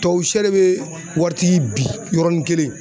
Tubabusɛ de bɛ waritigi bin yɔrɔnin kelen.